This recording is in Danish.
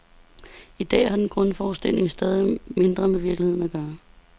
I dag har den grundforestilling stadigt mindre med virkeligheden at gøre.